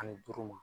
Ani duuru ma